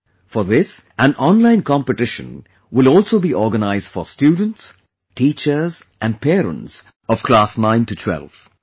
For this, online competition will also be organized for students, teachers, and parents of class 9 to 12